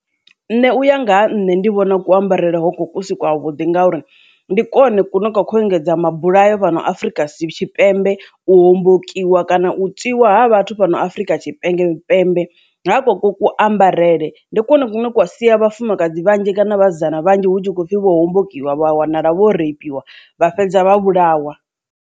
Nṋe uya nga ha nṋe ndi vhona ku ambarele hoko kusi kwa vhuḓi nga uri ndi kone kune kwa kho engedza mabulayo fhano afrika tshipembe u hombokiwa kana u tswiwa vhathu fhano a afrika tshipembe tshipembe nga ku ku ambarele ndi kwone kwa sia vhafumakadzi vhanzhi kana vhasidzana vhanzhi hu tshi khou pfhi vho hombokiwa vha wanala vho reipiwa vha fhedza vha vhulawa.